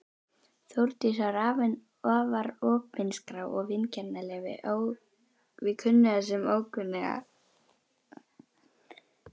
Þórdís var afar opinská og vingjarnleg við kunnuga sem ókunnuga.